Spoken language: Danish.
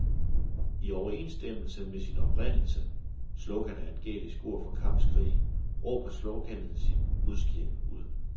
I overensstemmelse med sin oprindelse, slogan er et gælisk ord for kampskrig, råber sloganet sit budskab ud.